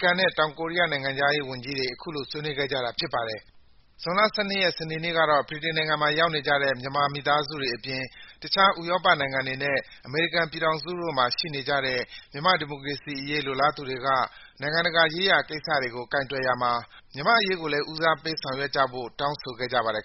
ကန်နဲ့ တောင်ကိုရီးယား နိုင်ငံခြားရေးဝန်ကြီးတွေ ဇွန်လ ၁၂ ရက်၊ စနေနေ့က ဗြိတိန်မှာ ရောက်နေကြတဲ့ မြန်မာမိသားစုတွေအပြင် တခြား ဥရောပနိုင်ငံတွေနဲ့ အမေရိကန်ပြည်ထောင်စုတို့မှာ ရှိနေကြတဲ့ မြန်မာ့ဒီမိုကရေစီအရေး လိုလားသူတွေက နိုင်ငံတကာရေးရာ ကိစ္စရပ်တွေကို ကိုင်တွယ်ရာမှာ မြန်မာ့အရေးကိုလည်း ဦးစားပေး ဆောင်ရွက်ပေးဖို့ တောင်းဆို ဆန္ဒပြခဲ့ကြပါတယ်